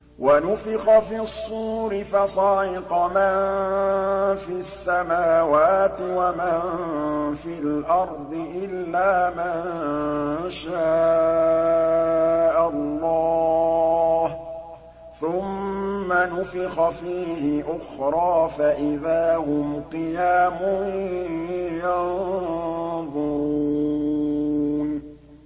وَنُفِخَ فِي الصُّورِ فَصَعِقَ مَن فِي السَّمَاوَاتِ وَمَن فِي الْأَرْضِ إِلَّا مَن شَاءَ اللَّهُ ۖ ثُمَّ نُفِخَ فِيهِ أُخْرَىٰ فَإِذَا هُمْ قِيَامٌ يَنظُرُونَ